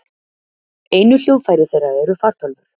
Einu hljóðfæri þeirra eru fartölvur.